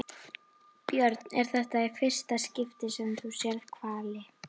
Björn: Er þetta í fyrsta skipti sem þú sérð hvali?